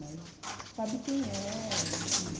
Mas sabe quem é, enfim.